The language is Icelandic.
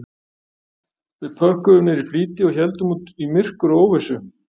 Við pökkuðum niður í flýti og héldum út í myrkur og óvissu